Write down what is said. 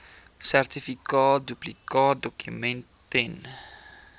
sertifikaat duplikaatdokument ten